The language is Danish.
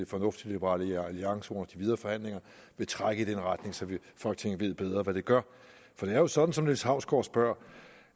fornuftigt at liberal alliance under de videre forhandlinger vil trække i den retning så folketinget ved bedre hvad det gør for det er jo sådan som niels hausgaard spørger